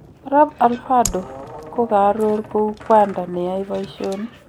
Arap alvador kokaror kou kwanda neyae paishonik